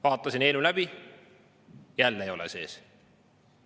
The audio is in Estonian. Vaatasin eelnõu läbi – jälle ei ole sees.